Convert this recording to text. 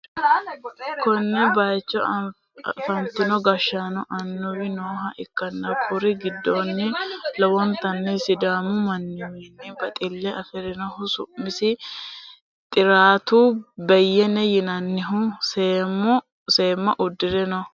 konne bayicho afantino gashshaanonna annuwi nooha ikkanna, kuri'u giddoonnino lowontanni sidaamu manniwiinni baxille afi'rinohu su'masi xiraatu beyyene yinannihu seemma uddi're no.